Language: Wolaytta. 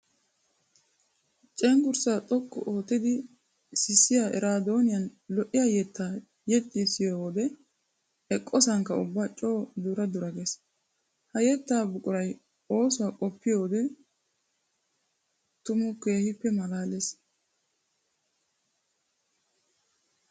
Cenggurssa xoqqu ootiddi sissiya eraaddoniyan lo'iya yetta yexxissiyoode eqqosanikka ubba coo dura dura gees. Ha yetta buquray oosuwa qoppiyodde tuma keehippe malaales.